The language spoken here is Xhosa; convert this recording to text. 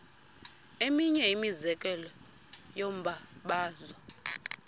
eminye imizekelo yombabazo